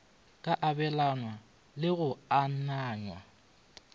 ka abelanwago le go ananywa